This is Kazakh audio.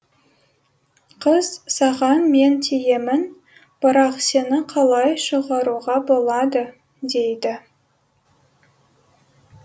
қыз саған мен тиемін бірақ сені қалай шығаруға болады дейді